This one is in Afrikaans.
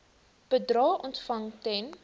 bedrae ontvang ten